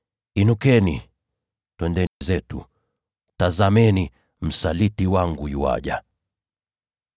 Inukeni, twende zetu! Tazameni, msaliti wangu yuaja!”